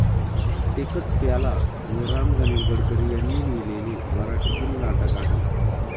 एकच प्याला हे राम गणेश गडकरी यांनी लिहिलेले मराठीतील नाटक आहे.